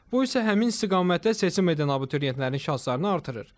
Bu isə həmin istiqamətdə seçim edən abituriyentlərin şanslarını artırır.